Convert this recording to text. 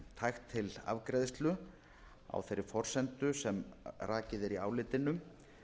tækt til afgreiðslu á þeirri forsendu sem rakið er í álitinu